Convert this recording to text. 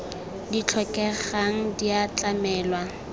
di tlhokegang di a tlamelwa